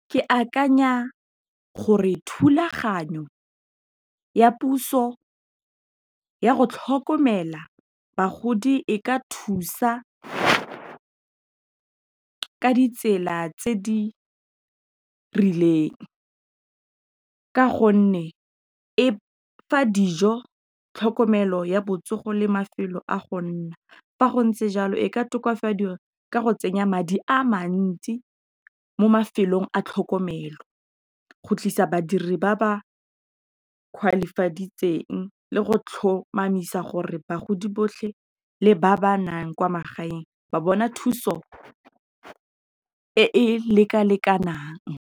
Ke akanya gore, thulaganyo ya puso ya go tlhokomela bagodi e ka thusa ka ditsela tse di rileng, ka gonne e fa dijo tlhokomelo, ya botsogo le mafelo a go nna, fa go ntse jalo, e ka tokafadiwa ka go tsenya madi a mantsi mo mafelong a tlhokomelo, go tlisa badiri ba ba le go tlhomamisa gore bagodi botlhe le ba ba nang kwa magaeng ba bona thuso e e leka lekanang.